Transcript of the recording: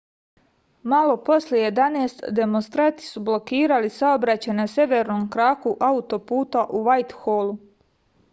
malo posle 11:00 demonstranti su blokirali saobraćaj na severnom kraku autoputa u vajtholu